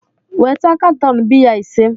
weta katọn biya ise!